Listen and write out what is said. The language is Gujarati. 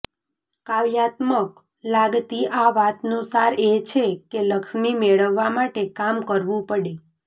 કાવ્યાત્મક લાગતી આ વાતનો સાર એ છે કે લક્ષ્મી મેળવવા માટે કામ કરવું પડે